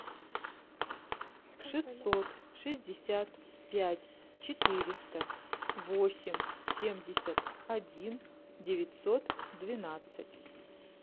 шестьсот шестьдесят пять четыреста восемь семьдесят один девятьсот двенадцать